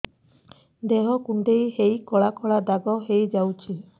ଦେହ କୁଣ୍ଡେଇ ହେଇ କଳା କଳା ଦାଗ ହେଇଯାଉଛି